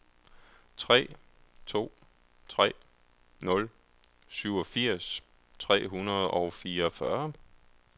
tre to tre nul syvogfirs tre hundrede og fireogfyrre